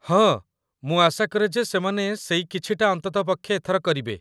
ହଁ, ମୁଁ ଆଶା କରେ ଯେ ସେମାନେ ସେଇ 'କିଛି'ଟା ଅନ୍ତତଃ ପକ୍ଷେ ଏଥର କରିବେ।